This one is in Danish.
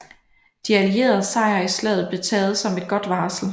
De allieredes sejr i slaget blev taget som et godt varsel